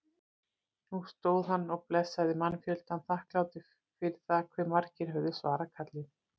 Nú stóð hann og blessaði mannfjöldann, þakklátur fyrir það hve margir höfðu svarað kallinu.